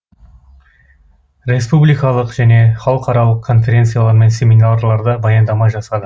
республикалық және халықаралық конференциялар мен семинарларда баяндама жасады